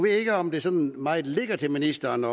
jeg ikke om det sådan meget ligger til ministeren